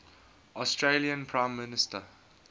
australian prime minister